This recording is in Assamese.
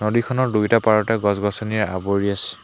নদীখনৰ দুয়োটা পাৰতে গছ-গছনিৰে আৱৰি আছে।